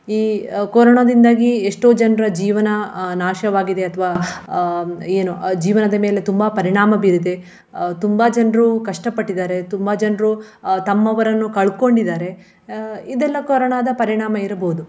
ಈ ಕೊರೋನಾದಿಂದಾಗಿ ಎಷ್ಟೋ ಜನರ ಜೀವನ ಅಹ್ ನಾಶವಾಗಿದೆ ಅಥವ ಅಹ್ ಏನು ಜೀವನದ ಮೇಲೆ ತುಂಬಾ ಪರಿಣಾಮ ಬೀರಿದೆ. ಅಹ್ ತುಂಬಾ ಜನರು ಕಷ್ಟಪಟ್ಟಿದ್ದಾರೆ ತುಂಬಾ ಜನರು ಅಹ್ ತಮ್ಮವರನ್ನು ಕಳ್ಕೊಂಡಿದ್ದಾರೆ ಅಹ್ ಇದೆಲ್ಲ ಕೊರೋನಾದ ಪರಿಣಾಮ ಇರ್ಬಹುದು.